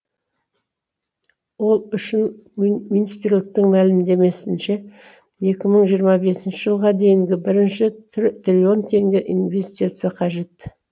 ол үшін мин министрліктің мәлімдемесінше екі мың жиырма бесінші жылға дейінгі бірінші тр триллион теңге инвестиция қажет